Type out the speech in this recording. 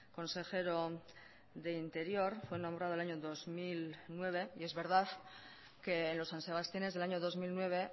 consejero de interior fue nombrado el año dos mil nueve y es verdad que en los san sebastianes del año dos mil nueve